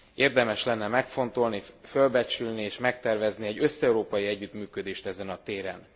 Érdemes lenne megfontolni, fölbecsülni és megtervezni egy összeurópai együttműködést ezen a téren.